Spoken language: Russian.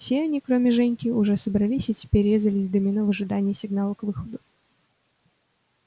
все они кроме женьки уже собрались и теперь резались в домино в ожидании сигнала к выходу